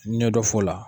Ɲɛ dɔ f'o la